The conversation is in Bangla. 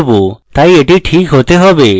তাই এটি ঠিক হতে হবে